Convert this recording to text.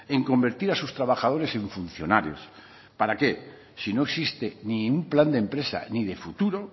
en convertir a sus trabajadores en funcionarios para qué si no existe ni un plan de empresa ni de futuro